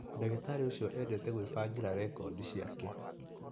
Ndagĩtarĩ ũcio endete gwĩbangĩra rekodi ciake